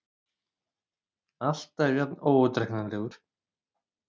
Alltaf jafn óútreiknanlegur.